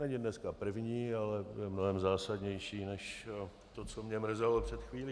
Není dneska první, ale je mnohem zásadnější než to, co mě mrzelo před chvílí.